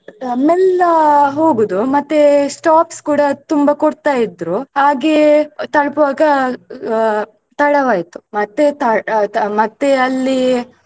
ಮೆಲ್ಲ ಹೋಗುದು ಮತ್ತೆ stops ಕೂಡ ತುಂಬಾ ಕೊಡ್ತಾ ಇದ್ರು ಹಾಗೆ ತಲುಪುವಾಗ ಆ ತಡವಾಯಿತು ಮತ್ತೆ ತ~ ಆ ತ~ ಮತ್ತೆ ಅಲ್ಲಿ.